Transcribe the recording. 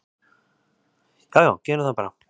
"""Já já, gerum það bara."""